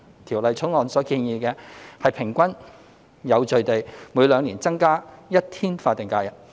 《條例草案》所建議的，是平均有序地每兩年增加一天法定假日。